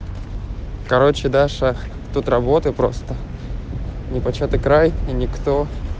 короче даша тут работы просто непочатый край и никто